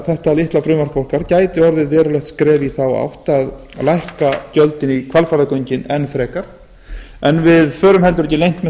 þetta litla frumvarp okkar gæti orðið verulegt skref í þá átt að lækka gjöldin í hvalfjarðargöngin enn frekar en við förum heldur ekki leynt með